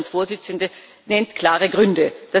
Der Vorstandsvorsitzende nennt klare Gründe.